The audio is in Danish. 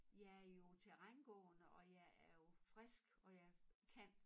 Jeg er jo terrængående og jeg er jo frisk og jeg kan